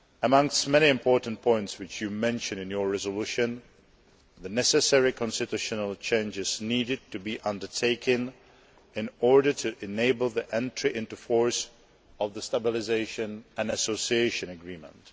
One of the many important points which you mention in your resolution is the necessary constitutional changes needed to be undertaken in order to enable the entry into force of the Stabilisation and Association Agreement.